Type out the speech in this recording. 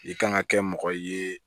I kan ka kɛ mɔgɔ ye